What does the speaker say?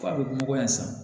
F'a bɛ bɔ nɔgɔ yan san